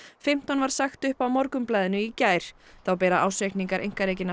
fimmtán var sagt upp á Morgunblaðinu í gær þá bera ársreikningar einkarekinna